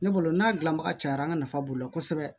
Ne bolo n'a dilanbaga cayara an ka nafa b'o la kosɛbɛ